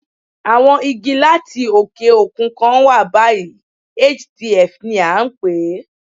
Àwọn Igi láti òkè òkun kan wà báyìí, HDF ni à ń pè é.